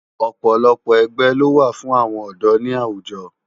Òpòlòpò ègbè ló wá fún áwòn òdò ni áwújò